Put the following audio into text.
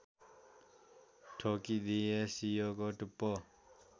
ठोकिदिए सियोको टुप्पो